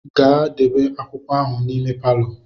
Gaa debe akwụkwọ ahụ n'ime palọ.